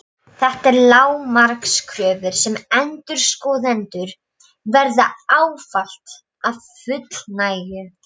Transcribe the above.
Þetta eru lágmarkskröfur sem endurskoðendur verða ávallt að fullnægja.